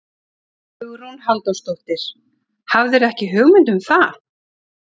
Hugrún Halldórsdóttir: Hafðirðu ekki hugmynd um það?